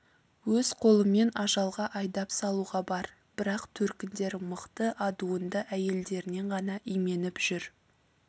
өз қолымен ажалға айдап салуға бар бірақ төркіндері мықты адуынды әйелдерінен ғана именіп жүр